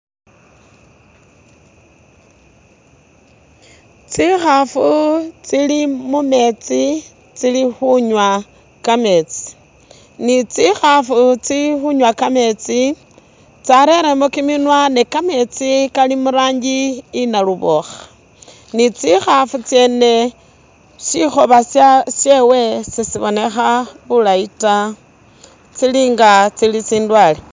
Tsikhafu tsili mu metsi tsili khunywa kametsi, ni tsikhafu tsili khunywa kametsi tsarelemo kiminwa ne kametsi kali mu rangi iya nalubokha ni tsikhafu tsene sikhoba sewe se si bonekha bulayi ta tsili nga tsili tsindwale.